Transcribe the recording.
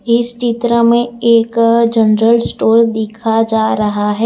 इस चित्र मे एक जनरल स्टोर दिखा जा रहा है।